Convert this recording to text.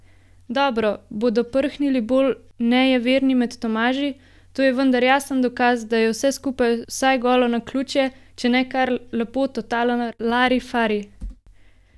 Dobro, bodo prhnili bolj nejeverni med Tomaži, to je vendar jasen dokaz, da je vse skupaj vsaj golo naključje, če ne kar lepo totalen larifari!